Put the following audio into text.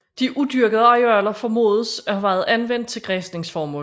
De udyrkede arealer formodes at have været anvendt til græsningsformål